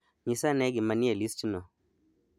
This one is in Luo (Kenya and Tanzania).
Nyisa ane gima nie listno